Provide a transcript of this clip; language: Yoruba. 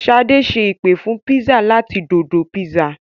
Ṣadé ṣe ìpè fún pizza láti Dodo pizza.